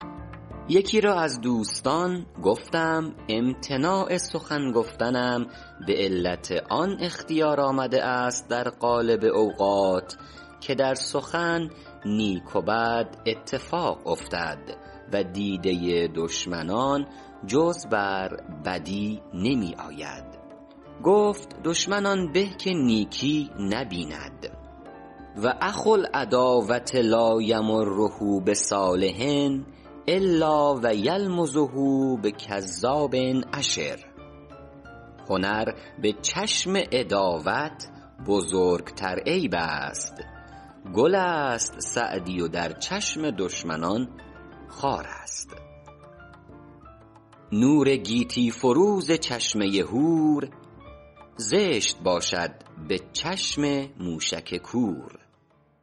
یکی را از دوستان گفتم امتناع سخن گفتنم به علت آن اختیار آمده است در غالب اوقات که در سخن نیک و بد اتفاق افتد و دیده دشمنان جز بر بدی نمی آید گفت دشمن آن به که نیکی نبیند و اخو العداوة لا یمر بصالح الا و یلمزه بکذاب اشر هنر به چشم عداوت بزرگتر عیب است گل است سعدی و در چشم دشمنان خار است نور گیتی فروز چشمه هور زشت باشد به چشم موشک کور